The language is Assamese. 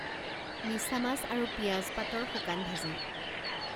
মিছা মাছ আৰু পিয়াজ পাতৰ শুকান ভাজি